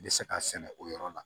N bɛ se k'a sɛnɛ o yɔrɔ la